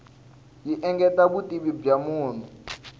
yi engetela vutivi bya munhu